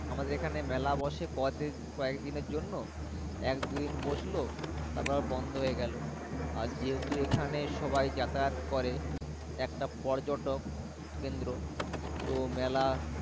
আমাদের এখানে মেলা বসে কবে কয়েক দিন এর জন্য একদিন বসলো তারপরে বন্ধ হয়ে গেল আর যেহেতু সবাই যাতায়াত করে একটা পর্যটক কেন্দ্র তো মেলা।